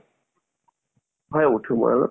হয় উথো মই অলপ